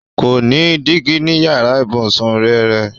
Kò ní dígí ní yàrá ìbùsùn rẹrẹ.